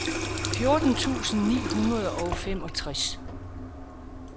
fjorten tusind ni hundrede og femogtres